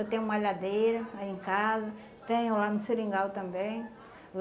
Eu tenho malhadeira aí em casa, tenho lá no Seringal também.